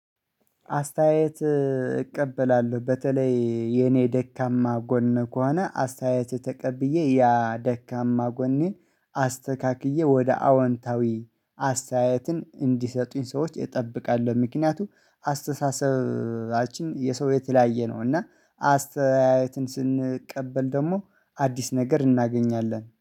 አስተያየት እቀበላለሁ በተለይ የኔ ደካማ ጎን ከሆነ አስተያየት ተቀብዬ ያ ደካማ ጎኔን አስተካክዬ ወደ አወንታዊ አስተያየትን እንዲሰጡኝ ሰዎች እጠብቃለሁ። ምክንያቱም አስተሳሰባችን የሰው የተለያየ ነው። እና አስተያየትን ስንቀበል ደግሞ አዲስ ነገር እናገኛለን